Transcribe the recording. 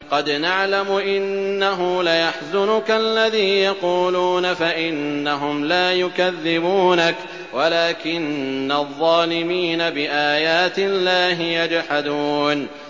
قَدْ نَعْلَمُ إِنَّهُ لَيَحْزُنُكَ الَّذِي يَقُولُونَ ۖ فَإِنَّهُمْ لَا يُكَذِّبُونَكَ وَلَٰكِنَّ الظَّالِمِينَ بِآيَاتِ اللَّهِ يَجْحَدُونَ